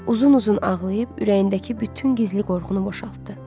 Uzun-uzun ağlayıb ürəyindəki bütün gizli qorxunu boşaltdı.